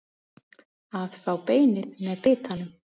Að fá beinið með bitanum